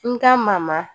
N ka mama